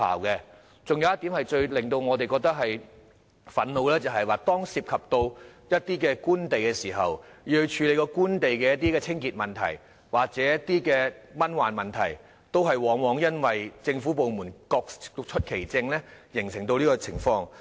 還有一點最令我們感到憤怒的，就是當涉及官地，要處理官地的清潔或蚊患問題時，往往因為政府部門各出其政，而無法成事。